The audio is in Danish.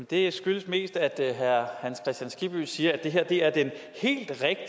det skyldes mest at herre hans kristian skibby siger at det her er den